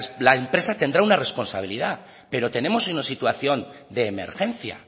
la empresa tendrá una responsabilidad pero tenemos una situación de emergencia